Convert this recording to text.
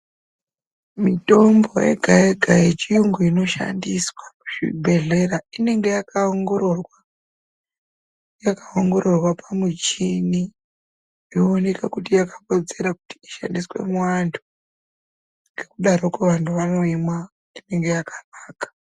Mitombo yega yega yechiyungu inoshandiswa muzvibhehlera inenge yakaongororwa, yakaongororwa pamuchini ,yooneka kuti yakakodzera kuti ishandiswe muvantu zvadarokwo vanthu vanoimwa ngekuti inenge yakanaka.